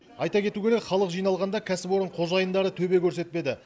айта кету керек халық жиналғанда кәсіпорын қожайындары төбе көрсетпеді